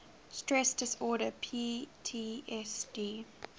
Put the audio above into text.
stress disorder ptsd